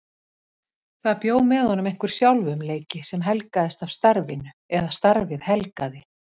Það bjó með honum einhver sjálfumleiki sem helgaðist af starfinu eða starfið helgaði.